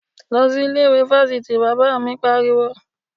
Lọ sí ilé ìwé fáfitì! Bàbá mi pariwo.